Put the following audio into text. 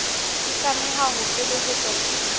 e tlameha ho felehetswa ke